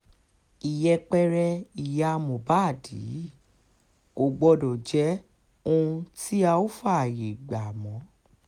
ìyẹpẹrẹ ìyá mohbad yìí kò gbọ́dọ̀ jẹ́ ohun tí a óò fààyè gbà mọ́